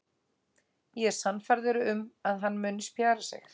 Ég er sannfærður um að hann muni spjara sig.